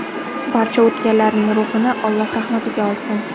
Barcha o‘tganlarning ruhini Alloh rahmatiga olsin!